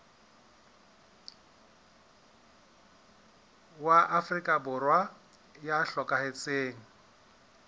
wa afrika borwa ya hlokahetseng